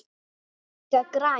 Þau voru líka græn.